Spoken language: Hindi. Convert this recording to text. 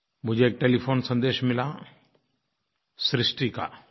मुझे एक टेलीफोन सन्देश मिला सृष्टि का